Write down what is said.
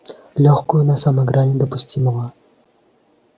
лёгкую на самой грани допустимого